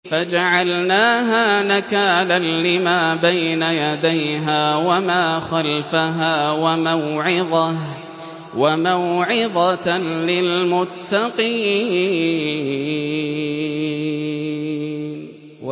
فَجَعَلْنَاهَا نَكَالًا لِّمَا بَيْنَ يَدَيْهَا وَمَا خَلْفَهَا وَمَوْعِظَةً لِّلْمُتَّقِينَ